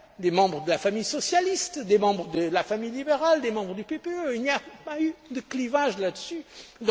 les commissaires, membres de la famille socialiste, membres de la famille libérale et membres du PPE. Il n'y a pas eu de clivage sur